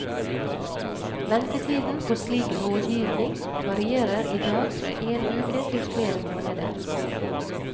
Ventetiden på slik rådgivning varierer i dag fra en uke til flere måneder.